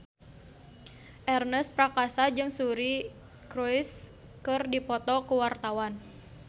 Ernest Prakasa jeung Suri Cruise keur dipoto ku wartawan